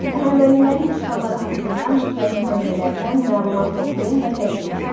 Əhəmənilərin işğalları haqqında müxtəlif mənbələrdən məlumat toplayın və təqdim edin.